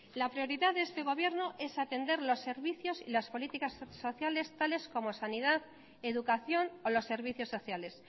la prioridad de este gobierno es atender los servicios y las políticas sociales tales como sanidad educación o los servicios sociales